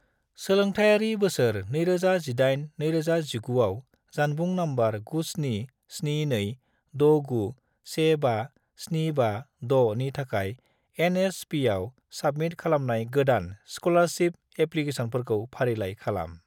सोलोंथायारि बोसोर2018 - 2019 आव जानबुं नम्बर 97726915756 नि थाखाय एन.एस.पि.आव साबमिट खालामनाय गोदान स्क'लारशिप एप्लिकेसनफोरखौ फारिलाइ खालाम।